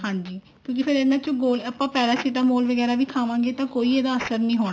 ਹਾਂਜੀ ਫ਼ੇਰ ਇਹਨਾ ਚ ਗੋਲੀ ਆਪਾਂ paracetamol ਵੀ ਵਗੈਰਾ ਵੀ ਖਾਵਾਂਗੇ ਤਾਂ ਕੋਈ ਇਹਦਾ ਅਸਰ ਨੀ ਹੋਣਾ